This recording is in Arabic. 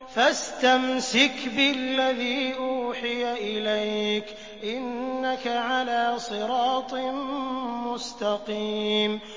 فَاسْتَمْسِكْ بِالَّذِي أُوحِيَ إِلَيْكَ ۖ إِنَّكَ عَلَىٰ صِرَاطٍ مُّسْتَقِيمٍ